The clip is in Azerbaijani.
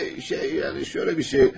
Bir şey yəni, elə bir şey.